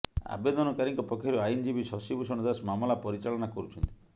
ଆବେଦନକାରୀଙ୍କ ପକ୍ଷରୁ ଆଇନଜୀବୀ ଶଶିଭୂଷଣ ଦାସ ମାମଲା ପରିଚାଳନା କରୁଛନ୍ତି